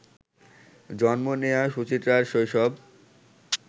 জন্ম নেয়া সুচিত্রার শৈশব